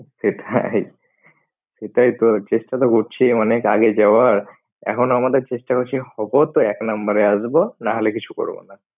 সেটাই সেটাইতো চেষ্টা তো করছি অনেক আগে যাওয়ার এখন আমাদের চেষ্টা বেশি হবো তো এক নাম্বারে আসব না হলে কিছু করব না।